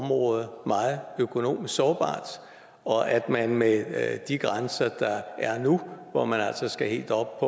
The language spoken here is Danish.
området meget økonomisk sårbart og at man med de grænser der er nu hvor man altså skal helt op